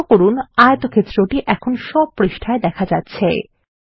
লক্ষ্য করুন আয়তক্ষেত্রটি এখন সব পৃষ্ঠায় দেখা যাচ্ছে